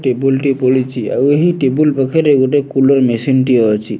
Table ଟିଏ ପଡିଚି ଆଉ ଏହି ଟେବୁଲ୍ ପାଖରେ ଗୁଟେ କୁଲର୍ ମେସିନ୍ ଟିଏ ଅଛି।